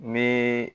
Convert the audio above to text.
N bɛ